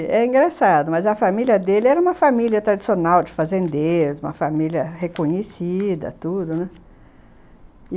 E é engraçado, mas a família dele era uma família tradicional de fazendeiros, uma família reconhecida, tudo, né?